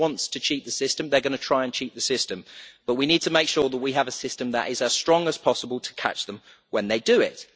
If someone wants to cheat the system, they are going to try and cheat the system, but we need to make sure that we have a system that is as strong as possible to catch them when they do